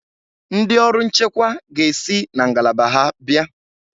Ndị ọrụ nchekwa ga-esi na ngalaba ha abịa.